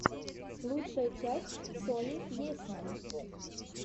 лучшая часть сони есьман